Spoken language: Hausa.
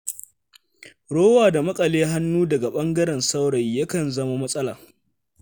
Rowa da maƙale hannu daga ɓangaren saurayi ya kan zama matsala.